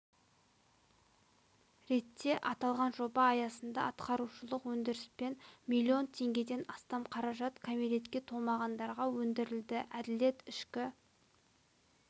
ретте аталған жоба аясында атқарушылық өндіріспен миллион теңгеден астам қаражат кәмелетке толмағандарға өндірілді әділет ішкі